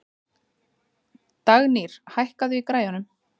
Dagnýr, hækkaðu í græjunum.